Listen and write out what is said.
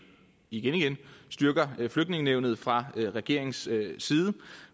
igen styrker flygtningenævnet fra regeringens side